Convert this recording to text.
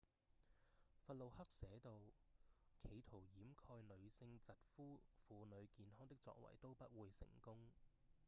弗路克寫到：企圖掩蓋女性疾呼婦女健康的作為都不會成功